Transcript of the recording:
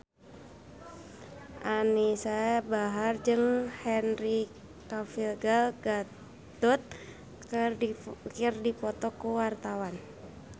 Anisa Bahar jeung Henry Cavill Gal Gadot keur dipoto ku wartawan